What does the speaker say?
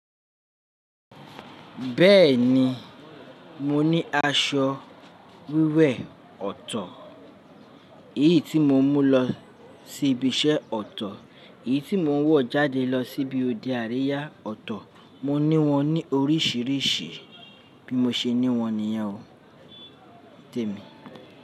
Bẹ́ẹ̀ni, mo ní aṣọ wíwẹ̀ ọ̀tọ̀, èyí tí mo ń mú lọ sí ibi iṣẹ́ ọ̀tọ̀, èyí tí mo ń wọ̀ jáde lọ síbi òde àríyá ọ̀tọ̀. Mo ní wọn ní oríṣiríṣi, bí mo ṣe ní wọn nìyẹn o. Tèmi.